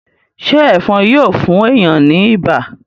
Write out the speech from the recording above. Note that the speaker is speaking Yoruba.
ṣe Ẹ̀fọ̀n Yíò fún èyán ní ibà?